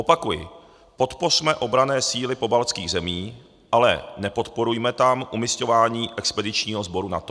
Opakuji, podpořme obranné síly pobaltských zemí, ale nepodporujme tam umisťování expedičního sboru NATO.